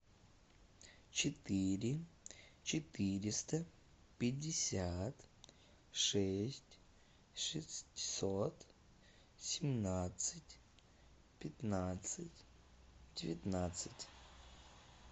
четыре четыреста пятьдесят шесть шестьсот семнадцать пятнадцать девятнадцать